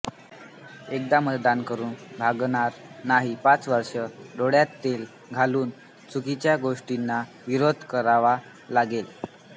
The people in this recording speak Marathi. एकदा मतदान करून भागणार नाही पाच वर्षे डोळ्यात तेल घालून चुकीच्या गोष्टींना विरोध करावा लागेल